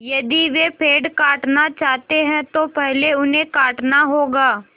यदि वे पेड़ काटना चाहते हैं तो पहले उन्हें काटना होगा